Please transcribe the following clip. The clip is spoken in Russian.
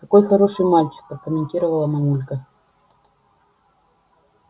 какой хороший мальчик прокомментировала мамулька